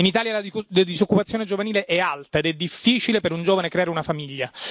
In Italia la disoccupazione giovanile è alta ed è difficile per un giovane creare una famiglia.